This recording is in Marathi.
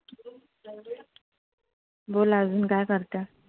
बोला आजून काय करते?